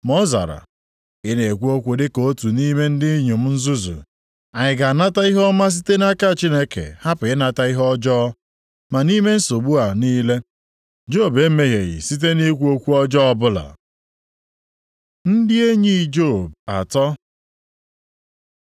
Ma ọ zara, “Ị na-ekwu okwu dịka otu nʼime ndị inyom nzuzu. Anyị ga-anata ihe ọma site nʼaka Chineke, hapụ ịnata ihe ọjọọ?” Ma nʼime nsogbu a niile, Job emehieghị site nʼikwu okwu ọjọọ ọbụla. Ndị enyi Job atọ